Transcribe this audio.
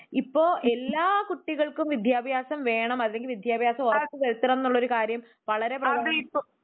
ഇപ്പൊ എല്ലാ കുട്ടികൾക്കും വിദ്ത്യഭ്യാസം വേണം അല്ലങ്കിൽ വിദ്ത്യഭ്യാസം ഉറപ്പ് വരുത്തണം എന്നുള്ള കാര്യം വളരെ വളരെ